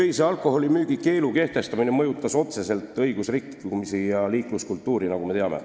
Öise alkoholimüügi keelamine vähendas otseselt õigusrikkumisi ja parandas liikluskultuuri, nagu me teame.